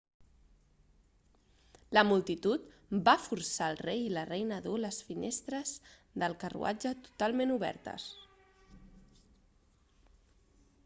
la multitud va forçar el rei i la reina a dur les finestres del carruatge totalment obertes